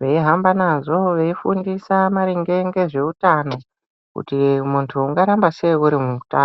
veihamba nazvo, veifundisa maringe ngezveutano. Kuti muntu ungaramba sei uri mutano.